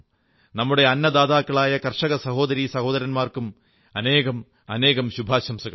നമ്മുടെ അന്നദാതാക്കളായ കർഷക സഹോദരീ സഹോദരന്മാർക്കും അനേകമനേകം ശുഭാശംസകൾ